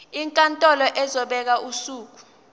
inkantolo izobeka usuku